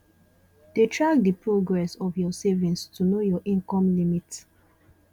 de track the progress of your savings to know your income limit